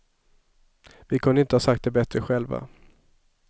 Vi kunde inte ha sagt det bättre själva.